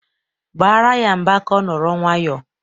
Baara ya mba ka ọ nọrọ nwayọọ!